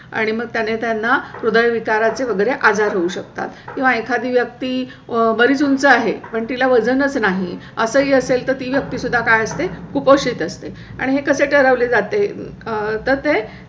आणि मग त्याने त्यांना सुद्धा विचारांचे वगैरे आजार होऊ शकतात. किंवा एखादी व्यक्ती बरीच उंच आहे. पण तिला वजन चं नाही असंही असेल तर ती व्यक्ती सुद्धा काय असते, कुपोषित असते आणि हे कसे ठरवले जाते तर ते